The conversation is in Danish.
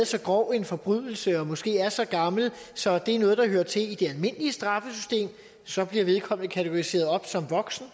så grov en forbrydelse og måske er så gammel så det er noget der hører til i det almindelige straffesystem så bliver vedkommende kategoriseret op som voksen